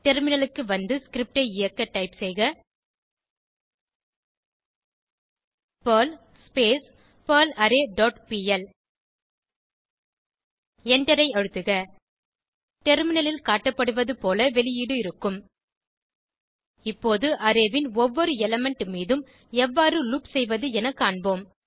டெர்மினலுக்கு வந்து ஸ்கிரிப்ட் ஐ இயக்க டைப் செய்க பெர்ல் பெர்லாரே டாட் பிஎல் எண்டரை அழுத்துக டெர்மினலில் காட்டப்படுவது போல வெளியீடு இருக்கும் இப்போது அரே ன் ஒவ்வொரு எலிமெண்ட் மீதும் எவ்வாறு லூப் செய்வது என காண்போம்